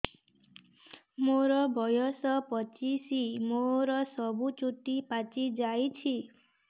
ମୋର ବୟସ ପଚିଶି ମୋର ସବୁ ଚୁଟି ପାଚି ଯାଇଛି